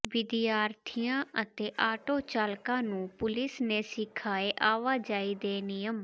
ਵਿਦਿਆਰਥੀਆਂ ਅਤੇ ਆਟੋ ਚਾਲਕਾਂ ਨੂੰ ਪੁਲਿਸ ਨੇ ਸਿਖਾਏ ਆਵਾਜਾਈ ਦੇ ਨਿਯਮ